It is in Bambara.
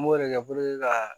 N b'o de kɛ ka